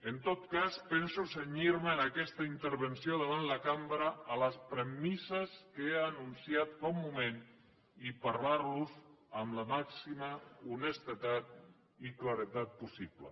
en tot cas penso cenyir me en aquesta intervenció davant la cambra a les premisses que he anunciat fa un moment i parlar los amb la màxima honestedat i claredat possible